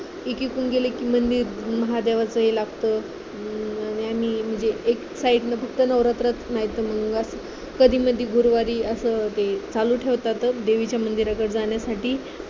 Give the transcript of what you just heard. एकीकडून गेलं कि मंदिर महादेवाचं लागत आणि म्हणजे एक side न फक्त नवरात्रात नाही तर मग कधी मढी गुरुवारी असं ते चालू ठेवतातच देवीच्या मंदिराकड जाण्यासाठी